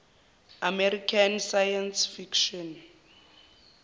american science fiction